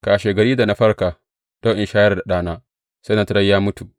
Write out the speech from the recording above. Kashegari, da na farka don in shayar da ɗana, sai na tarar ya mutu!